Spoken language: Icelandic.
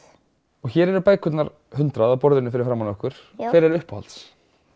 og hér eru bækurnar hundrað á borðinu fyrir framan okkur hver er uppáhalds